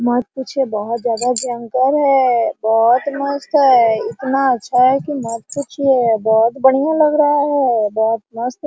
मत पूछिए बहुत ज्यादा भयंकर है बहुत मस्त है इतना अच्छा है की मत पूछिए बहुत बढ़िया लग रहा है बहोत मस्त --